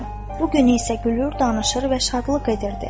Bu gün isə gülür, danışır və şadlıq edirdi.